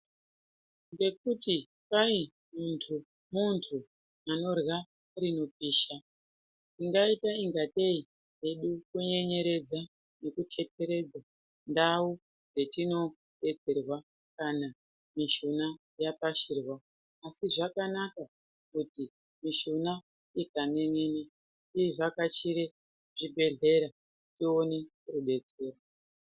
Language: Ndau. Ngekuti kwai muntu-muntu anorya rinopisha ingaita kungatei kwedu kunyenyeredza nekuteteredza ndau dzetinodetserwa kana mishuna yapashirwa ,asi zvakanaka kuti mishuna ikan'en'ena tivhakachire zvibhedhlera tione rubetsero.